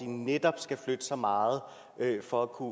netop skal flytte sig meget for at kunne